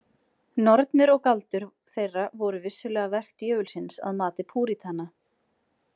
Nornir og galdur þeirra voru vissulega verk djöfulsins að mati púritana.